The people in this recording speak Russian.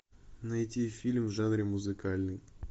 найти фильм в жанре музыкальный